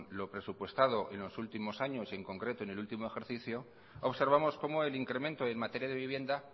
lo presupuestado en los últimos años y en concreto en el último ejercicio observamos cómo el incremento en materia de vivienda